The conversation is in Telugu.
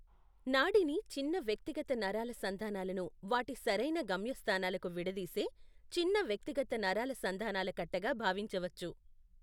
నాడిని చిన్న వ్యక్తిగత నరాల సంధానాలను వాటి సరైన గమ్యస్థానాలకు విడదీసే, చిన్న వ్యక్తిగత నరాల సంధానాల కట్టగా భావించవచ్చు.